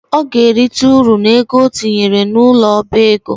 Ọ ga-erita ụrụ n’ego o tinyere n’ụlọ ọba ego